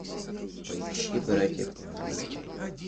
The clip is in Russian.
поищи братья по оружию